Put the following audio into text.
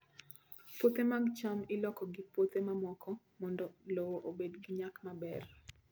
Puothe mag cham iloko gi puothe mamoko mondo lowo obed gi nyak maber.